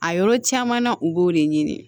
A yɔrɔ caman na u b'o de ɲini